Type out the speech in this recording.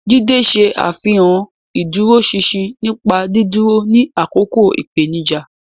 Jide ṣe àfihàn ìdúróṣinṣin nípa dídúró ní àkókò ìpèníjà.